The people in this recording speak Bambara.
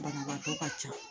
Banabaatɔ ka ca